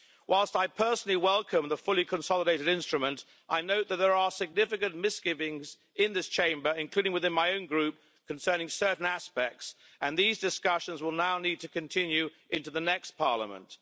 Whilst I personally welcome the fully consolidated instrument, I note that there are significant misgivings in this Chamber, including within my own Group, concerning certain aspects, and these discussions will now need to continue into the next parliament.